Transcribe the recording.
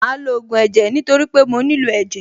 Màá lo ògùn ẹ̀jẹ̀ nítorí pé mo nílò ẹ̀jẹ̀.